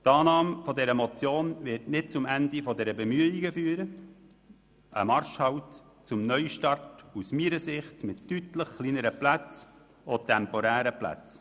Die Annahme dieser Motion wird nicht zum Ende dieser Bemühungen führen, sondern zu einem Marschhalt zwecks Neustarts aus meiner Sicht mit deutlich kleineren und temporären Plätzen.